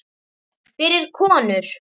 Fyrir konur.